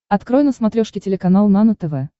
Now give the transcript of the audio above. открой на смотрешке телеканал нано тв